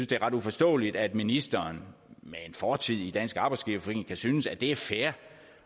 det er ret uforståeligt at ministeren med en fortid i dansk arbejdsgiverforening kan synes at det er fair